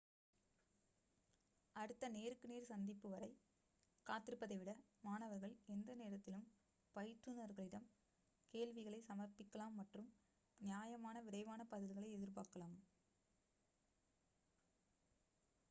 அடுத்த நேருக்கு நேர் சந்திப்பு வரை காத்திருப்பதை விட மாணவர்கள் எந்த நேரத்திலும் பயிற்றுனர்களிடம் கேள்விகளை சமர்ப்பிக்கலாம் மற்றும் நியாயமான விரைவான பதில்களை எதிர்பார்க்கலாம்